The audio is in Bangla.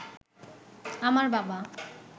আমার বাবা